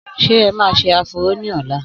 Sé ẹ ma ṣe áfúró ní ọ̀la?